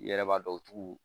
I yɛrɛ b'a dɔn u t'u